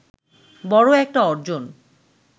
বড় একটা অর্জন